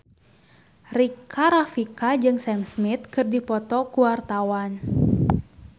Rika Rafika jeung Sam Smith keur dipoto ku wartawan